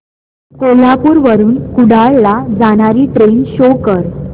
कोल्हापूर वरून कुडाळ ला जाणारी ट्रेन शो कर